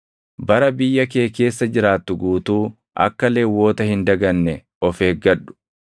Bara biyya kee keessa jiraattu guutuu akka Lewwota hin daganne of eeggadhu.